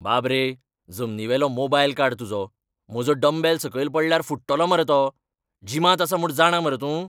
बाब रे, जमनीवेलो मोबायल काड तुजो, म्हजो डंबेल सकयल पडल्यार फुट्टलो मरे तो. जिमांत आसा म्हूण जाणा मरे तूं?